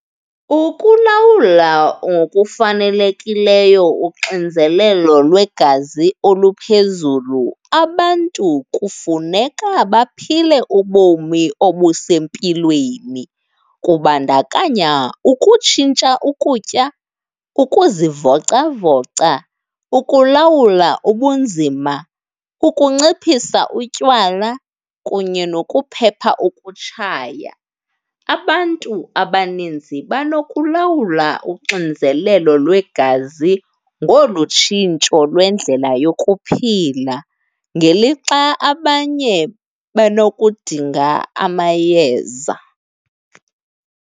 Ukulawula ngokufanelekileyo uxinzelelo lwegazi oluphezulu abantu kufuneka baphile ubomi obusempilweni. Kubandakanya ukutshintsha ukutya, ukuzivocavoca, ukulawula ubunzima, ukunciphisa utywala kunye nokuphepha ukutshaya. Abantu abaninzi banokulawula uxinzelelo lwegazi ngolu tshintsho lwendlela yokuphila ngelixa abanye benokudinga amayeza.